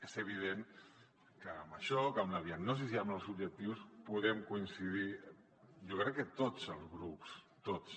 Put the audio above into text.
és evident que amb això que en la diagnosi i en els objectius hi podem coincidir jo crec que tots els grups tots